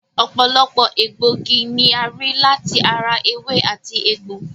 Ọ̀pọ̀lọpọ̀ egbòogi ni a rí láti ara ewé àti egbò